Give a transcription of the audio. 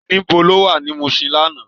Nibó ló wá ni Mushin làná?